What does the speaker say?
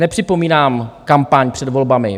Nepřipomínám kampaň před volbami.